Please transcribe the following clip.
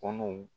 Kɔnɔw